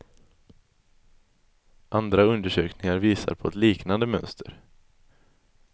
Andra undersökningar visar på ett liknande mönster.